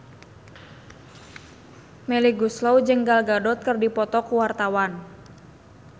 Melly Goeslaw jeung Gal Gadot keur dipoto ku wartawan